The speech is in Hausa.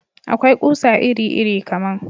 Akwai ƙusa iri iri kaman